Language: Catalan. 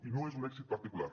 i no és un èxit particular